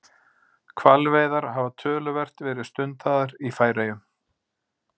Hvalveiðar hafa töluvert verið stundaðar í Færeyjum.